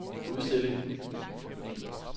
udstilling